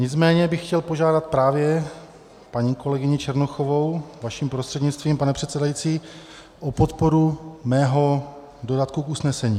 Nicméně bych chtěl požádat právě paní kolegyni Černochovou vaším prostřednictvím, pane předsedající, o podporu mého dodatku k usnesení.